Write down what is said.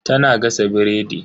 Tana gasa biredi.